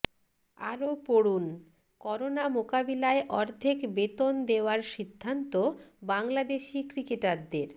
আরও পড়ুনঃকরোনা মোকাবিলায় অর্ধেক বেতন দেওয়ার সিদ্ধান্ত বাংলাদেশি ক্রিকেটারদের